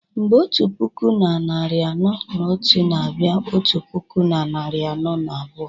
mgbe otu puku na narị anọ na otu na-abịa otu puku na narị anọ na abụọ